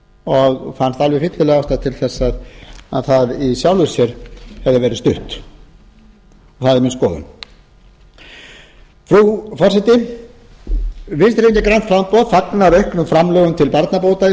og fannst alveg fyllileg ástæða til þess í sjálfu sér hefði það verið stutt það er mín skoðun frú forseti vinstri hreyfingin grænt framboð fagnar auknum framlögum til barnabóta í